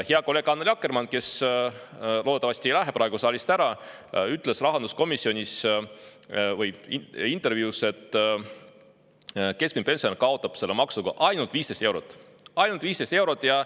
Hea kolleeg Annely Akkermann, kes loodetavasti ei lähe praegu saalist ära, ütles intervjuus, et keskmine pensionär kaotab selle maksuga ainult 15 eurot – ainult 15 eurot!